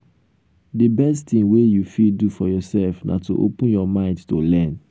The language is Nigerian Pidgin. de best thing wey you fit do for yourself na to open your mind to learn.